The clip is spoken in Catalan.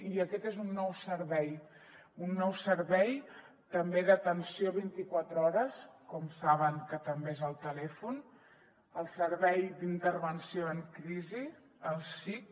i aquest és un nou servei un nou servei també d’atenció vint i quatre hores com saben que també ho és el telèfon el servei d’intervenció en crisi el sic